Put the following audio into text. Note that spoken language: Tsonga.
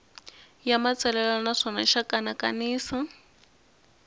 ya matsalelo naswona xa kanakanisa